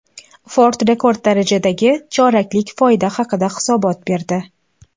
Ford rekord darajadagi choraklik foyda haqida hisobot berdi.